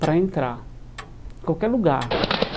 para entrar em qualquer lugar.